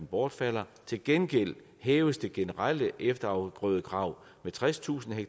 bortfalder til gengæld hæves det generelle efterafgrødekrav med tredstusind ha